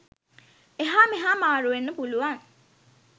එහා මෙහා මාරු වෙන්න පුළුවන්.